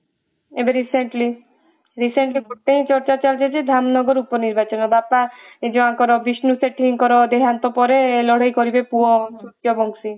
ଏବେ recently recently ଗୋଟେ ଚର୍ଚ୍ଚା ଚାଲିଛି ଯେ ଧାମନଗର ଲୋକ ନିର୍ବାଚନ ବାପା ଯାହା ବିଷ୍ଣୁ ସେଠୀଙ୍କ ଦେହାନ୍ତ ପରେ ଲଢେଇ କରିବେ ପୁଅ ବଂଶୀ